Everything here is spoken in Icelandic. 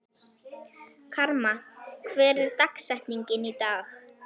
Karma, hver er dagsetningin í dag?